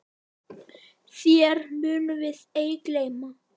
Þér munum við ei gleyma.